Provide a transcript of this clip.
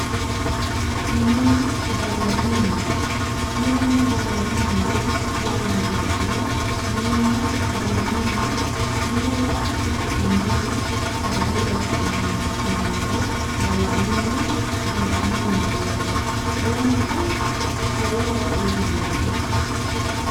minenna gallanni mine minenna gallanni mine yaa lamewa beenkiro minenna gallanni mine mine yaa qishi'nanno mine sagale loosi'nanni mineeti yinummoro gallanni mine gonxanni mineeti yaate lamunku lowo horo uyiitannonke